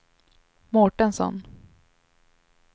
Mårtensson